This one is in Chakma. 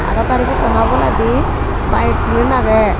aro gari pottano oboladi bike tinen agye.